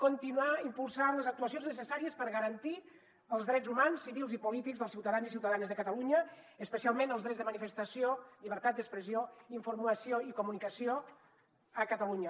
continuar impulsant les actuacions necessàries per garantir els drets humans civils i polítics dels ciutadans i ciutadanes de catalunya especialment els drets de manifestació llibertat d’expressió i informació i comunicació a catalunya